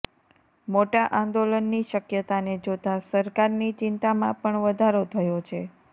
મોટા આંદોલનની શક્યતાને જોતા સરકારની ચિંતામાં પણ વધારો થયો છે